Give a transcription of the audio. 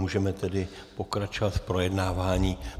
Můžeme tedy pokračovat v projednávání.